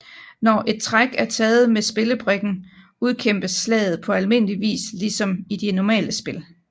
Når et træk er taget med spillebrikken udkæmpes slaget på almindeligvis ligesom i de normale spil